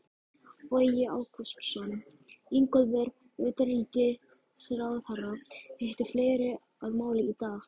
Bogi Ágústsson: Ingólfur, utanríkisráðherra hitti fleiri að máli í dag?